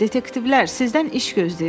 Dedektivlər, sizdən iş gözləyirəm.